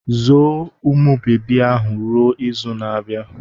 Zoo umụ bebi ahụ ruo izu na-abịa!